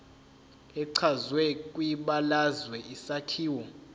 echazwe kwibalazwe isakhiwo